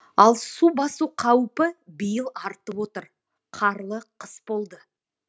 ал су басу қаупі биыл артып отыр қарлы қыс болды